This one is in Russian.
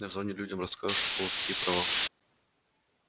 на зоне людям расскажешь у кого какие права